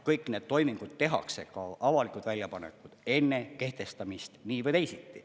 Kõik need toimingud tehakse, ka avalikud väljapanekud, enne kehtestamist nii või teisiti.